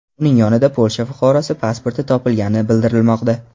Uning yonidan Polsha fuqarosi pasporti topilgani bildirilmoqda.